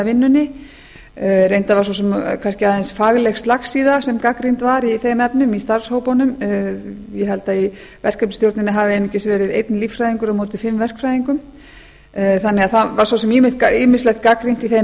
vinnunni reyndar var svo sem kannski aðeins fagleg slagsíða sem gagnrýnd var í þeim efnum í starfshópunum ég held að í verkefnisstjórninni hafi einungis verið einn líffræðingur á móti fimm verkfræðingum þannig að það var svo sem ýmislegt gagnrýnt í þeim